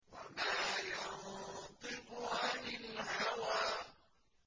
وَمَا يَنطِقُ عَنِ الْهَوَىٰ